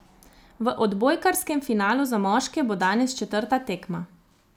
V odbojkarskem finalu za moške bo danes četrta tekma.